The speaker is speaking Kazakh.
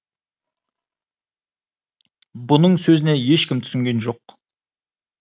бұның сөзіне ешкім түсінген жоқ